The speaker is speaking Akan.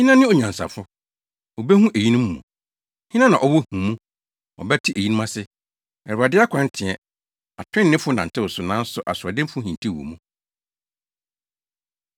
Hena ne onyansafo? Obehu eyinom mu. Hena na ɔwɔ nhumu? Ɔbɛte eyinom ase. Awurade akwan teɛ. Atreneefo nantew so, nanso asoɔdenfo hintiw wɔ mu.